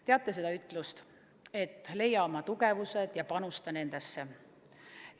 Teate seda ütlust, et leia oma tugevused ja panusta nendesse?